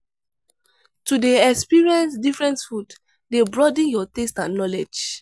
To dey experience different food dey broaden your taste and knowledge.